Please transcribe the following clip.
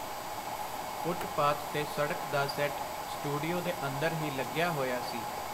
Footpath ਤੇ ਸੜਕ ਦਾ ਸੈੱਟ ਸਟੂਡੀਓ ਦੇ ਅੰਦਰ ਹੀ ਲਗਿਆ ਹੋਇਆ ਸੀ.